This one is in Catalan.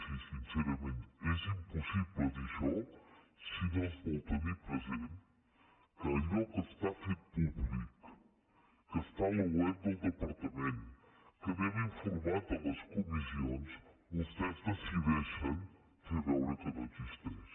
sí sincerament és impossible dir això si no es vol te·nir present que allò que està fet públic que està a la web del departament que n’hem informat a les comis·sions vostès decideixen fer veure que no existeix